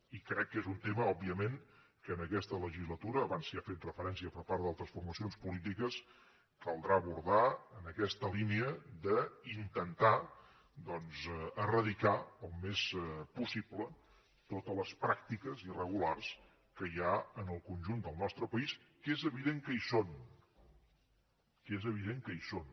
i crec que és un tema òbviament que en aquesta legislatura abans hi han fet referència altres formacions polítiques caldrà abordar en aquesta línia d’intentar eradicar el més possible totes les pràctiques irregulars que hi ha en el conjunt del nostre país que és evident que hi són que és evident que hi són